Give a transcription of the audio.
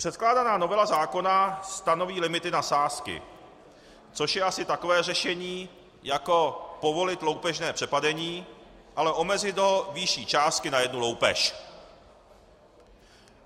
Předkládaná novela zákona stanoví limity na sázky, což je asi takové řešení jako povolit loupežné přepadení, ale omezit ho výší částky na jednu loupež.